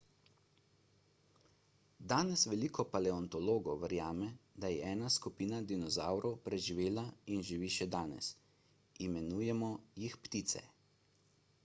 danes veliko paleontologov verjame da je ena skupina dinozavrov preživela in živi še danes imenujemo jih ptice